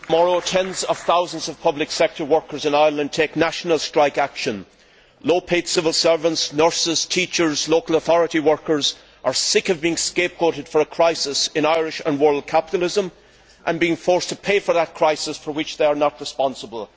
Mr President, tomorrow, tens of thousands of public sector workers in Ireland take national strike action. Low paid civil servants, nurses, teachers and local authority workers are sick of being scapegoated for a crisis in Irish and world capitalism and being forced to pay for that crisis, for which they are not responsible.